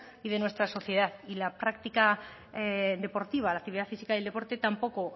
y de nuestra sociedad y la práctica deportiva la actividad física y el deporte tampoco